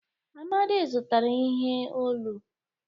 Amadi zụtara ihe olu.